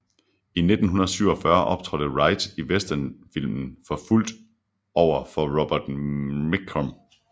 I 1947 optrådte Wright i westernfilmen Forfulgt over for Robert Mitchum